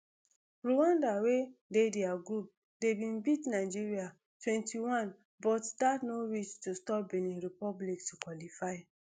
rwanda wey dey dia group d bin beat nigeria twenty-one but dat no reach to stop benin republic to qualify